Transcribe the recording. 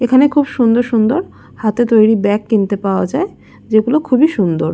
এখানে খুব সুন্দর সুন্দর হাতে তৈরী ব্যাগ কিনতে পাওয়া যায় যেগুলো খুবই সুন্দর।